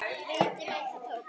Viti menn, þetta tókst.